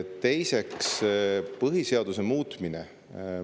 Teiseks, põhiseaduse muutmise kohta.